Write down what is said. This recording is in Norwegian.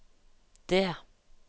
D